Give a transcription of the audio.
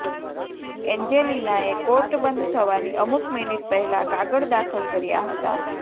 એન્જેલિનાએ court બંધ થવાની અમુક મિનિટ પહેલાં કાગળ દાખલ કર્યા હતાં